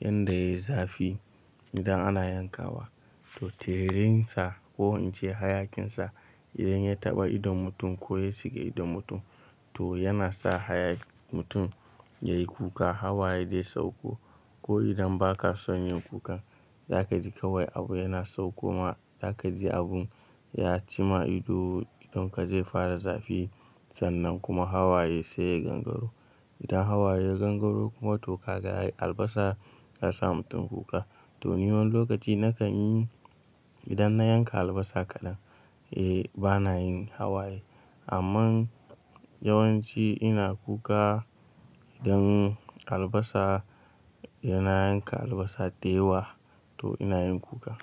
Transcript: yan da ya yi zafi idan ana yankawa, to tiririn sa ko ince hayakin sa idan ya taɓa idon mutum ko ya shiga idon mutum to yana sa mutum yayi kuka hawaye dai sauko. Ko idan ba ka son yin kuka za ka ji kawai abu yana saukoma, za ka ji abun ya ci ma ido idon ka zai fara zafi sannan kuma hawaye sai ya gangaro. Idan hawaye ya gangaro kuma to ka ga albasa ta sa mutum kuka. To ni wani lokaci na kan yi idan na yanka albasa kaɗan. Eh bana yin hawaye amma yawanci ina kuka idan albasa yana yanka albasa da yawa to ina yin kuka.